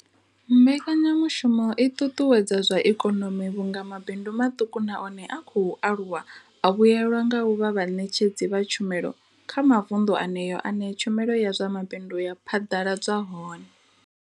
Mbekanya mushumo i ṱuṱuwedza zwa ikonomi vhunga mabindu maṱuku na one a khou aluwa a vhuelwa nga u vha vhaṋetshedzi vha tshumelo kha mavundu eneyo ane tshumelo ya zwa mabindu ya phaḓaladzwa hone.